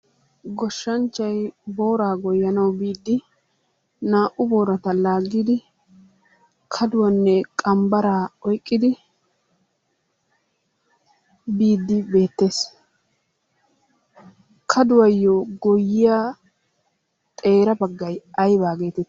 Goshshanchchay booraa goyyanawu biidi naa"u boorata laaggidi kaduwanne qambbaraa oyiqqidi biiddi beettes. Kaduwayyo goyyiya xeera baggay ayibaa geetetti?